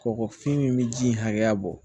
Kɔgɔfin min bɛ ji hakɛya bɔ